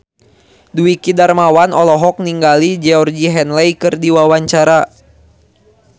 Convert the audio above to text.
Dwiki Darmawan olohok ningali Georgie Henley keur diwawancara